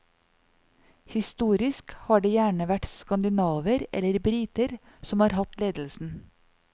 Historisk har det gjerne vært skandinaver eller briter som har hatt ledelsen.